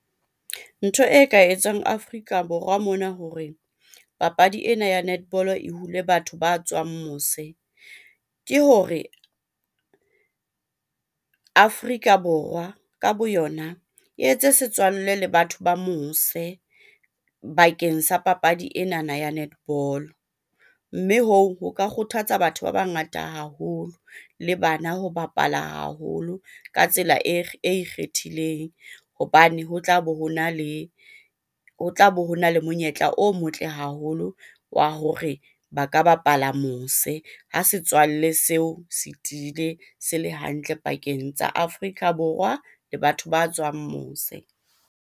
Ntho e ka etswang Afrika Borwa mona hore papadi ena ya netball-o e hule batho ba tswang mose, ke hore Afrika Borwa ka bo yona e etse setswalle le batho ba mose bakeng sa papadi enana ya netball-o. Mme hoo, ho ka kgothatsa batho ba bangata haholo le bana ho bapala haholo ka tsela e ikgethileng. hmhobane ho tlabe hona le ho tlabe hona le monyetla o motle haholo wa hore ba ka bapala mose ha setswalle seo se tiile, se le hantle pakeng tsa Afrika Borwa le batho ba tswang mose.